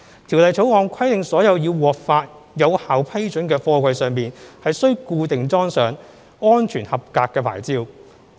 《條例草案》規定所有已獲發有效批准的貨櫃上須固定裝上"安全合格牌照"。